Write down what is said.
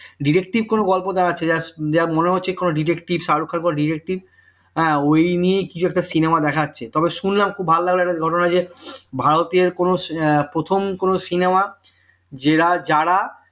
detective কোন গল্প দাঁড়াচ্ছে just যা মনে হচ্ছে কোন detective শাহরুখ খানের কোন detective হ্যাঁ ওই নিয়েই কিছু একটা cinema দেখাচ্ছে তবে শুনলাম খুব ভালো লাগলো একটা ঘটনা যে ভারতীয় কোন প্রথম কোন cinema যেরা যারা